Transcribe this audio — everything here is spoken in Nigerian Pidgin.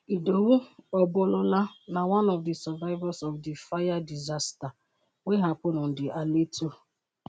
idowu obalola na one of di survivors of di fire disaster wey happen on di aleto-